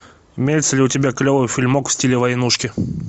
имеется ли у тебя клевый фильмок в стиле войнушки